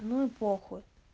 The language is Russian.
ну и похуй